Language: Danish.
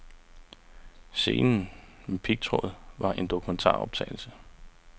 Scenen med pigtråden var en dokumentaroptagelse.